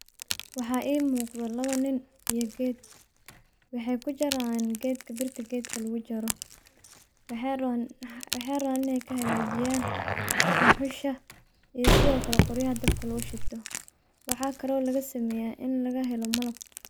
Waxa imuqdo lawo niin iyo wexey kujarayan gedka birta lugujaro wexey kahajinayan duxusha iyo qoryaha dabka lugushito waxa kalo lagasamya inii lagahelo malab.